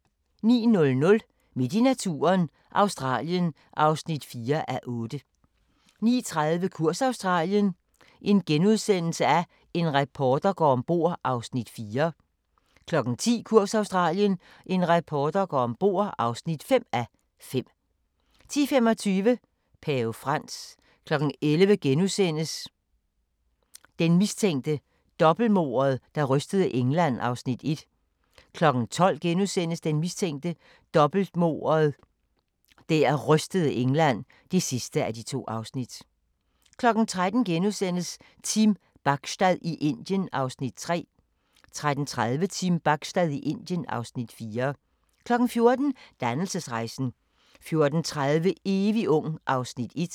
09:00: Midt i naturen – Australien (4:8) 09:30: Kurs Australien – en reporter går ombord (4:5)* 10:00: Kurs Australien – en reporter går ombord (5:5) 10:25: Pave Frans 11:00: Den mistænkte – dobbeltmordet, der rystede England (1:2)* 12:00: Den mistænkte – dobbeltmordet der rystede England (2:2)* 13:00: Team Bachstad i Indien (Afs. 3)* 13:30: Team Bachstad i Indien (Afs. 4) 14:00: Dannelsesrejsen 14:30: Evig ung (Afs. 1)